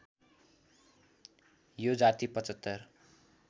यो जाति ७५